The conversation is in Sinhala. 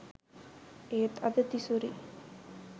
ඒත් අද තිසුරි